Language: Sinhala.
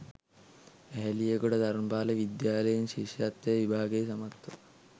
ඇහැලියගොඩ ධර්මපාල විද්‍යාලයෙන් ශිෂ්‍යත්ව විභාගය සමත්ව